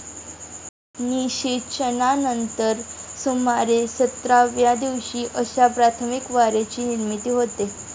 निशेचनानंतर सुमारे सतराव्या दिवशी अशा प्राथमिक वारेची निर्मिती होते.